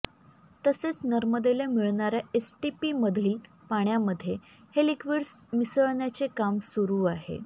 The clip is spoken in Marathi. तसेच नर्मदेला मिळणाऱ्या एसटीपीमधील पाण्यामध्ये हे लिक्विड्स मिसळण्याचे काम सुरू आहे